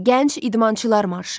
Gənc idmançılar marşı.